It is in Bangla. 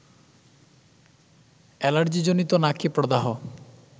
এলার্জিজনিত নাকে প্রদাহ